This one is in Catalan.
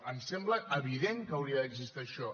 em sembla evident que hauria d’existir això